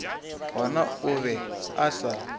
gona o be a sa